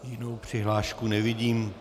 Jinou přihlášku nevidím.